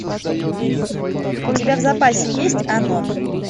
у тебя в запасе есть анон